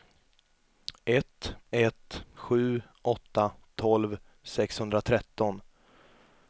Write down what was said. ett ett sju åtta tolv sexhundratretton